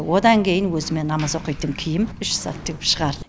одан кейін өзіме намаз оқитын киім үш зат тігіп шығардым